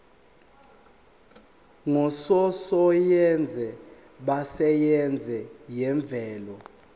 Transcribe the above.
ngososayense besayense yemvelo